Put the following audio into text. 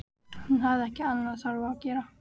Hún hafði ekki annað þarfara að gera.